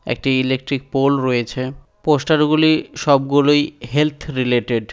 একটি electric pole রয়েছে poster গুলি সবগুলোই হেলথ রিলেটেড ।